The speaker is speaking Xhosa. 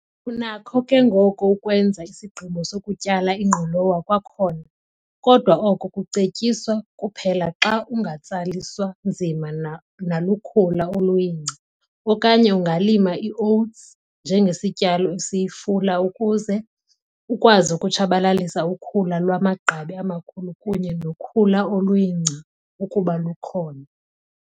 Unakho ke ngoko ukwenza isigqibo sokutyala ingqolowa kwakhona, kodwa oko kucetyiswa kuphela xa ungatsaliswa nzima nalukhula oluyingca, okanye ungalima iowuthsi njengesityalo esiyifula ukuze ukwazi ukutshabalalisa ukhula lwamagqabi amakhulu kunye nokhula oluyingca ukuba lukhona.